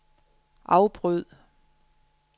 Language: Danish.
afbryd